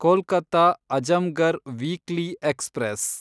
Kolkata Azamgarh weekly express